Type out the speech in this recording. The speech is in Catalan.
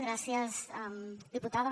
gràcies diputada